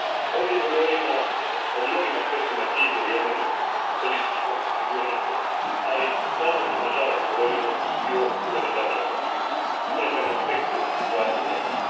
Ovdje govorimo o mnogim aspektima krize u Jemenu, političkoj, sigurnosnoj, ali ponovno na žalost govorimo i o humanitarnom aspektu situacije u Jemenu.